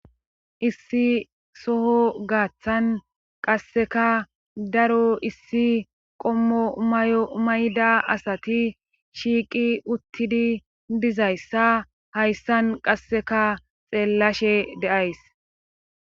Issi soho gaaththan qasseka daro issi qommo mayo mayda asati shiiqi uttidi dizayssa hayssan qasseka xeellashe deays.